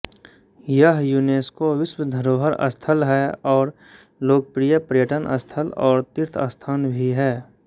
यह युनेस्को विश्व धरोहर स्थल है और लोकप्रिय पर्यटन स्थल और तीर्थस्थान भी है